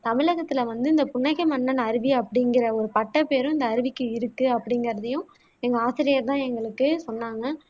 தமிழகத்தில வந்து இந்த புன்னகை மன்னன் அருவி அப்படிங்குற ஒரு பட்டப்பேரும் இந்த அருவிக்கு இருக்கு அப்படிகுறதையும் எங்க ஆசிரியர் தான் எங்களுக்கு சொன்னாங்க